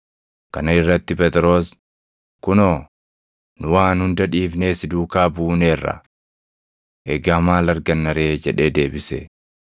Kana irratti Phexros, “Kunoo, nu waan hunda dhiifnee si duukaa buuneerra! Egaa maal arganna ree?” jedhee deebise.